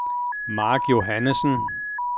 Marc Johannesen